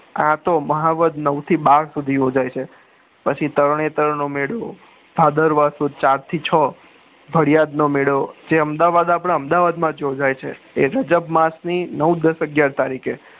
આ તો મહાવધ નવ થી બાર સુધી ઉજવાય છે પછી તરણેતર નો મેળો ભાદરવા સુદ ચાર થી છ થાદીયાદ નો મેળો જે અમદાવાદ આપડા અમદાવાદમાં જ યોજાય છે માસ ની નવ દસ અગિયાર તારીખે